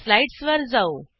slides वर जाऊ